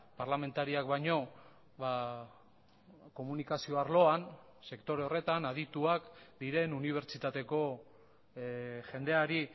parlamentariak baino komunikazio arloan sektore horretan adituak diren unibertsitateko jendeari